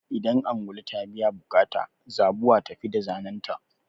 Idan ungulu ta biya buƙata, zabuwa ta tafi da zanenta.